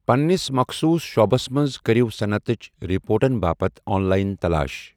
پنِنِس مخصوٗص شعبَس منٛز کٔرِو صنعتٕچ رپورٹَن باپتھ آن لائن تلاش۔